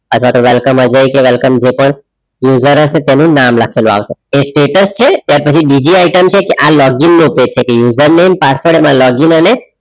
અથવા તો welcome Ajay welcome જે પ user હસે તો એનુ નામ લખેલું આવશે status છે ત્યાર પછી બીજી item છે કે આ login નો પેટ છે username password અને એમાં login અને